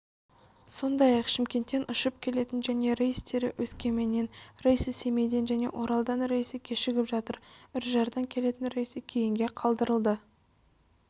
сондай-ақ шымкенттен ұшып келетін және рейстері өскеменнен рейсі семейден және оралдан рейсі кешігіп жатыр үржардан келетін рейсі кейінге қалдырылды